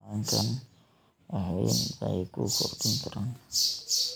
xayawaankani wax weyn bay ku kordhin karaan.